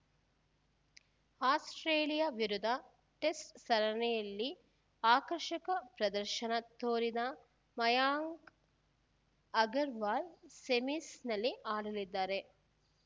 Australia ವಿರುದ್ಧ test ಸರಣಿಯಲ್ಲಿ ಆಕರ್ಷಕ ಪ್ರದರ್ಶನ ತೋರಿದ ಮಯಾಂಕ್‌ ಅಗರ್‌ವಾಲ್‌ ಸೆಮೀಸ್‌ನಲ್ಲಿ ಆಡಲಿದ್ದಾರೆ